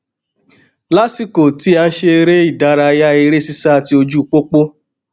lásìkò tí à n ṣeré ìdárayá eré sísá ti ojú pópó